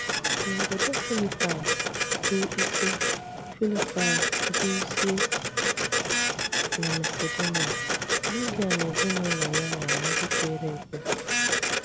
N’obodò Filípaị̀ bụ́ ísí Filípaị̀ bụ́ ísí na Masedonia, Lídia na ezinụlọ̀ ya ghọrọ̀ ndị kwere ekwe.